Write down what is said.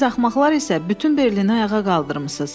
Siz axmaqlar isə bütün Berliyi ayağa qaldırmısınız.